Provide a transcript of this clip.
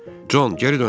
Con, geri döndər.